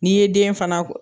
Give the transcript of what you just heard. N'i ye den fana